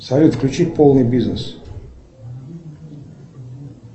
салют включи полный бизнес